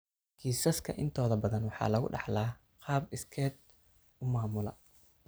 Kiisaska intooda badan waxaa lagu dhaxlaa qaab iskeed u maamula.